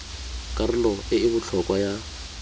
karolo e e botlhokwa ya